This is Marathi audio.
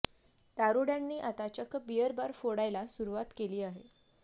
दारुड्यांनी आता चक्क बीअर बार फोडायला सुरुवात केली आहे